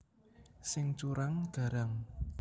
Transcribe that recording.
Sing curang garang